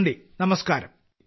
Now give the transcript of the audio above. നന്ദി നമസ്ക്കാരം